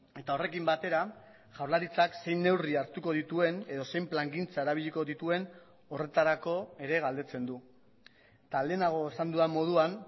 eta horrekin batera jaurlaritzak zein neurri hartuko dituen edo zein plangintza erabiliko dituen horretarako ere galdetzen du eta lehenago esan dudan moduan